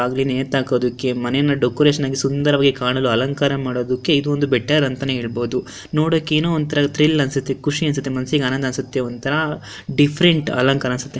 ನೇತಾಕೋದಕ್ಕೆ ಮನೇನ ಡೆಕೋರೇಷನ್ ಆಗಿ ಸುಂದರವಾಗಿ ಕಾಣಲು ಅಲಂಕಾರ ಮಾಡೋದಕ್ಕೆಇದು ಒಂದು ಬೆಟರ್ ಅಂತನೆ ಹೇಳಬಹುದು ನೋಡೋಕೆ ಏನೋ ಒಂತರ ತ್ರಿಲ್ ಅನ್ನಸುತ್ತೆ ಖುಷಿ ಅನ್ನಸುತ್ತೆ ಮನಸ್ಸಿಗೆ ಆನಂದ ಅನ್ನಸುತ್ತೆ ಒಂತರ ಡಿಫ್ಫೆರೆಂಟ್ ಅಲಂಕಾರ ಅನ್ನಸುತ್ತೆ.